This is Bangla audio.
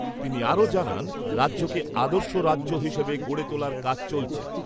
তিনি আরও জানান রাজ্যকে আদর্শ রাজ্য হিসাবে গড়ে তোলার কাজ চলছে।